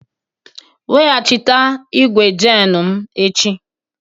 Weghachite igwu jenu m echi!